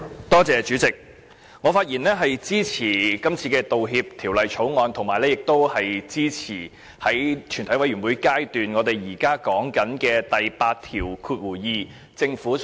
代理主席，我發言支持《道歉條例草案》，以及支持政府就第82條提出的全體委員會審議階段修正案。